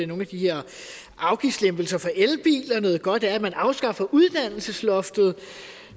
nogle af de her afgiftslempelser for elbiler noget godt er at man afskaffer uddannelsesloftet og